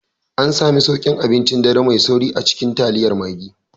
An sami sauƙin abincin dare mai sauri a cikin taliyar Maggi